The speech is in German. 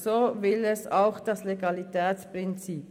So will es auch das Legalitätsprinzip.